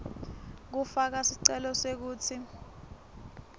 kufaka sicelo sekutsi